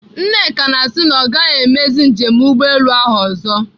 Nneka na-asị na ọ gaghị emezi njem ụgbọelu ahụ ọzọ.